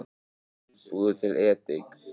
Búðu til edik